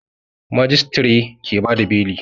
Majistare ke bada beli